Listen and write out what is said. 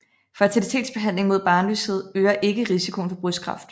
Fertilitetsbehandling mod barnløshed øger ikke risikoen for brystkræft